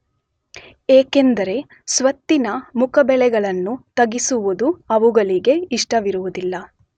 ಏಕೆಂದರೆ ಸ್ವತ್ತಿನ ಮುಖಬೆಲೆಗಳನ್ನು ತಗ್ಗಿಸುವುದು ಅವುಗಳಿಗೆ ಇಷ್ಟವಿರುವುದಿಲ್ಲ.